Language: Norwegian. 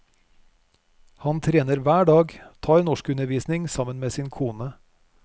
Han trener hver dag, tar norskundervisning sammen med sin kone.